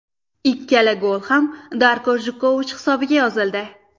Ikkala gol ham Darko Gojkovich hisobiga yozildi.